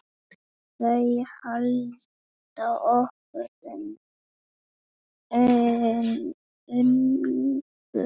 Þau halda okkur ungum.